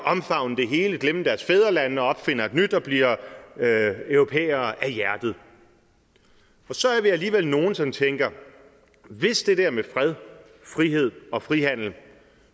omfavne det hele og glemme deres fædrelande og opfinder et nyt og bliver europæere af hjertet og så er vi alligevel nogle som tænker hvis det der med fred frihed og frihandel